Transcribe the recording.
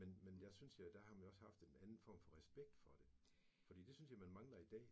Men men der synes jeg, der har man også haft en anden form for respekt for det, for det synes jeg, man mangler i dag